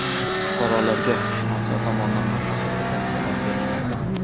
Fuqarolarga huquqshunoslar tomonidan maslahat va tavsiyalar berilmoqda.